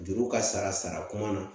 Juru ka sara sara ko man na